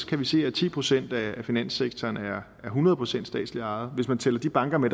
kan vi se at ti procent af finanssektoren er hundrede procent statsligt ejet hvis man tæller de banker med